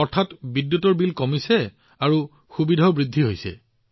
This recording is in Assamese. অৰ্থাৎ বিদ্যুতৰ বিলো নোহোৱা হৈছে আৰু সুবিধাও বৃদ্ধি পাইছে